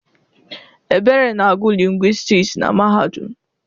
Ebere na-agụ lingwistiks na mahadum.